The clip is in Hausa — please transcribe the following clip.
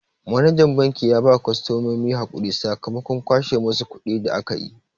Manajan banki ya ba kostomominsu hakuri sakamakon kwashe musu kuɗi da akayi.